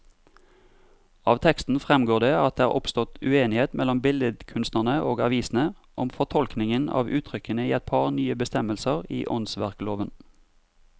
Av teksten fremgår det at det er oppstått uenighet mellom billedkunstnerne og avisene om fortolkningen av uttrykkene i et par nye bestemmelser i åndsverkloven.